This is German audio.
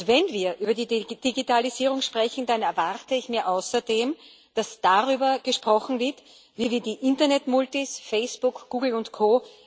Wenn wir über die Digitalisierung sprechen, dann erwarte ich mir außerdem, dass darüber gesprochen wird, wie wir die Internetmultis Facebook, Google und Co.